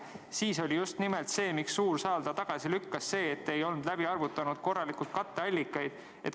Siis oli, miks suur saal selle tagasi lükkas, just nimelt see, et te ei olnud korralikult läbi arvutanud katteallikaid.